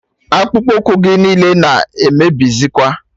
Akpụkpu ụkwụ gị niile na emebizikwa